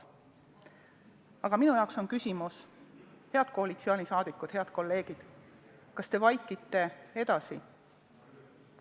Aga minu jaoks on küsimus, head koalitsioonisaadikud, head kolleegid: kas te vaikite edasi?